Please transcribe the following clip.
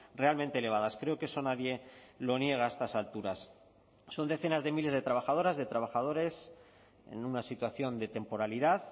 realmente elevadas creo que eso nadie lo niega a estas alturas son decenas de miles de trabajadoras de trabajadores en una situación de temporalidad